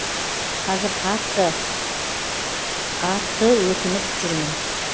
қазір қатты қатты өкініп жүрмін